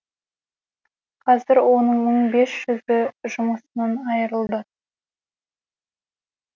қазір оның мың бес жүзі жұмысынан айырылды